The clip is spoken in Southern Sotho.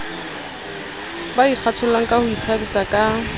ba ikgathollangka ho ithabisa ka